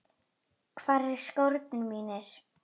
Hvar eru skórnir mínir?